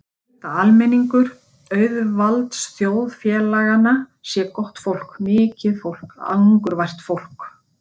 Ég held að almenningur auðvaldsþjóðfélaganna sé gott fólk, mikið fólk, angurvært fólk.